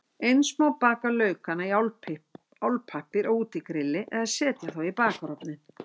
Eins má baka laukana í álpappír á útigrilli eða setja þá í bakarofninn.